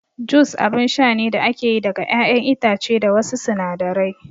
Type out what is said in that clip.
Jus abun sha ne da ake yi daga ƴaƴan itace da wasu sinadarai